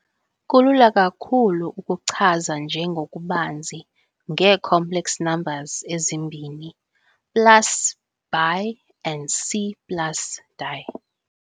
Kulula kakhulu ukuchaza nje ngokubanzi, ngee-complex numbers ezimbini plus bi and c plus di.